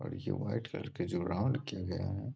और ये white colour के जो राउंड किए गए है ।